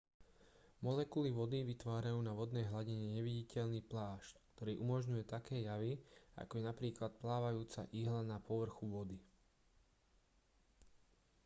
molekuly vody vytvárajú na vodnej hladine neviditeľný plášť ktorý umožňuje také javy ako je napríklad plávajúca ihla na povrchu vody